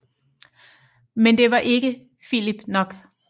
Men det var ikke Filip nok